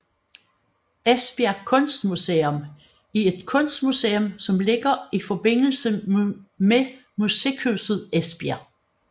Esbjerg Kunstmuseum er et kunstmuseum som ligger i forbindelse med Musikhuset Esbjerg